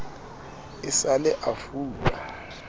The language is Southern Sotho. e sa le a fula